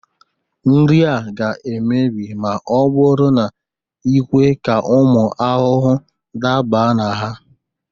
Nri a ga-emebi ma ọ bụrụ na i kwe ka ụmụ ahụhụ daba na ha